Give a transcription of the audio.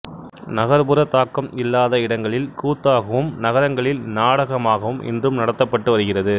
நகர்ப்புறத் தாக்கம் இல்லாத இடங்களில் கூத்தாகவும் நகரங்களில் நாடகமாகவும் இன்றும் நடத்தப்பட்டு வருகிறது